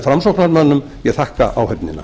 framsóknarmönnum ég þakka áheyrnina